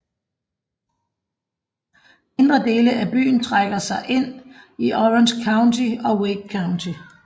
Mindre dele af byen trækker sig ind i Orange County og Wake County